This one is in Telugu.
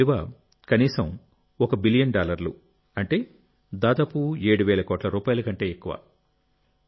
దీని విలువ కనీసం 1 బిలియన్ డాలర్లు అంటే దాదాపు ఏడు వేల కోట్ల రూపాయల కంటే ఎక్కువ